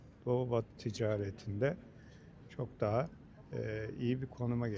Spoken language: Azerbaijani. Doğu-batı ticarətində çok daha eee, iyi bir konuma gələcəyik.